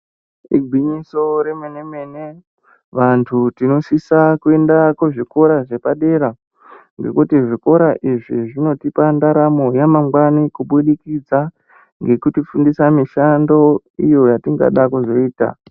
Igwinyiso remene mene vantu tinosisa kuenda kuzvikora zvepadera ngekuti zvikora izvi zvinotipa ndaramo yamangwani kubudikidza ngekutifundisa mishando iyo yatingada kuzoita.